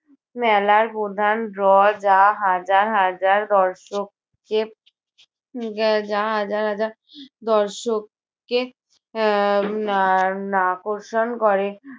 মেলার প্রধান draw যা হাজার হাজার দর্শক কে উহ যা হাজার হাজার দর্শককে আহ উম আহ আকর্ষণ করে।